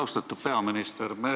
Austatud peaminister!